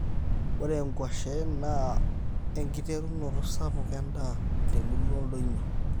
ore nkuashen naa enkiterunoto sapuk endaa temuruo oldonyio